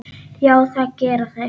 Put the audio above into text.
Já, það gera þeir.